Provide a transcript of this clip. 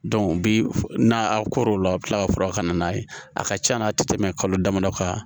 bi n'a koron o la a bi kila ka fura ka na n'a ye a ka can na a ti tɛmɛ kalo damadɔ kan